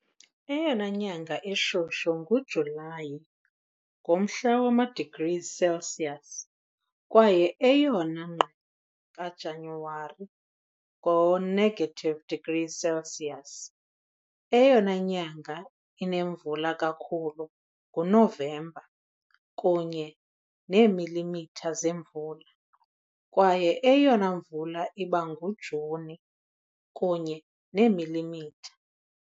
Eyona nyanga ishushu nguJulayi, ngomhla wama-degrees Celsius, kwaye eyona ngqele kaJanuwari, ngo-negative degrees Celsius. Eyona nyanga inemvula kakhulu nguNovemba, kunye neemilimitha zemvula, kwaye eyona mvula iba nguJuni, kunye neemilimitha .